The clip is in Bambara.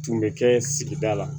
Tun bɛ kɛ sigida la